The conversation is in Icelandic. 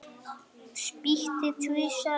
Spýti tvisvar á gólfið.